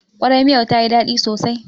Ƙwarai, miyar ta yi daɗi sosai